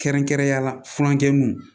Kɛrɛnkɛrɛnnenyala furankɛ mun